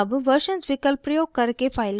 अब versions विकल्प प्रयोग करके file को सेव करते हैं